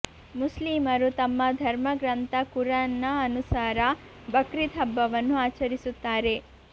ಮುಸ್ಲೀಮರು ತಮ್ಮ ಧರ್ಮ ಗ್ರಂಥ ಕುರಾನ್ನ ಅನುಸಾರ ಬಕ್ರೀದ್ ಹಬ್ಬವನ್ನು ಆಚರಿಸುತ್ತಾರೆ